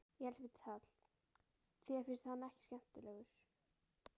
Elísabet Hall: Þér finnst hann ekki skemmtilegur?